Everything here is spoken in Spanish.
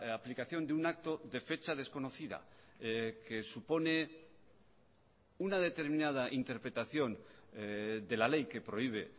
aplicación de un acto de fecha desconocida que supone una determinada interpretación de la ley que prohíbe